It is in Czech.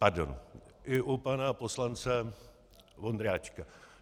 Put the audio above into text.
Pardon - i u pana poslance Vondráčka.